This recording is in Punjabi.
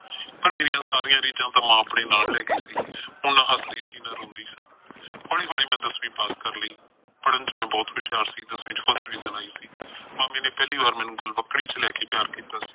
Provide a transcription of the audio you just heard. ਪਰ ਮੇਰੀਆਂ ਸਾਰੀਆਂ ਰੀਝਾਂ ਤਾਂ ਮਾਂ ਆਪਣੇ ਨਾਲ ਲੈ ਗਈ ਸੀ। ਹੁਣ ਹੱਸਦੀ ਸੀ ਨਾ ਰੋਂਦੀ ਸਾਂ। ਹੌਲੀ ਹੌਲੀ ਮੈਂ ਦਸਵੀਂ ਪਾਸ ਕਰ ਲਈ। ਪੜ੍ਹਨ ਚ ਮੈਂ ਬਹੁਤ ਹੁਸ਼ਿਆਰ ਸੀ, ਦਸਵੀਂ ਚੋ first division ਆਈ ਸੀ। ਮਾਮੀ ਨੇ ਪਹਿਲੀ ਵਾਰ ਮੈਨੂੰ ਗਲਵੱਕੜੀ ਚ ਲੈ ਕੇ ਪਿਆਰ ਕੀਤਾ ਸੀ।